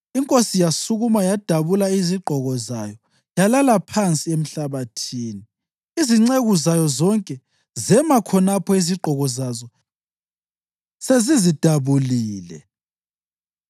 Inkosi yasukuma, yadabula izigqoko zayo yalala phansi emhlabathini; izinceku zayo zonke zema khonapho iziqgoko zazo sezizidabulile.